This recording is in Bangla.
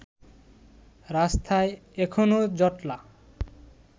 রাস্তায় এখনও জটলা